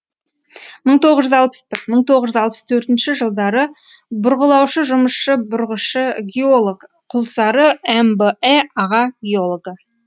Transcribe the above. мың тоғыз жүз алпыс бір мың тоғыз алпыс төртінші жылдары бұрғылаушы жұмысшы бұрғышы геолог құлсары мбэ аға геологы